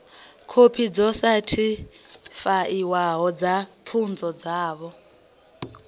khophi dzo sethifaiwaho dza pfunzo dzavho